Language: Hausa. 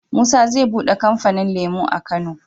Musa ze buɗe kamfanin lemo a kano